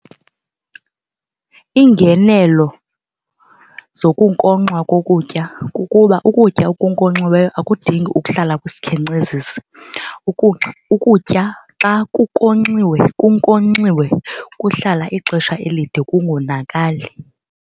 Iingenelo zokunkonxwa kokutya kukuba ukutya okunkonxiweyo akudingi ukuhlala kwisikhenkcezisi. Ukutya xa kunkonxiwe kunkonxiwe kuhlala ixesha elide kungonakali.